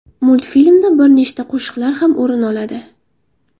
Multfilmda bir nechta qo‘shiqlar ham o‘rin oladi.